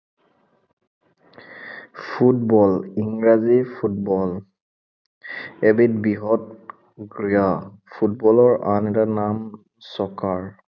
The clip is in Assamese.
ফুটবল। ইংৰাজীৰ ফুটবল। এবিধ বৃহৎ ক্ৰীড়া। ফুটবলৰ আন এটা নাম চকাৰ।